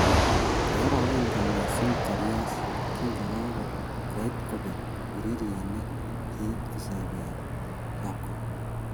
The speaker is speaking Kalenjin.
Kiorogen kot missing Karius kingokakobek ureriet ne kiit kosoi beek ab Kong